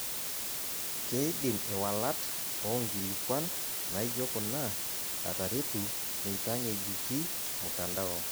Keidim iwalat oonkilikuant naijo kuna ataretu meitang'ejuki mtandao.